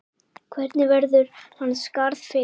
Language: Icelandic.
Hvernig verður hans skarð fyllt?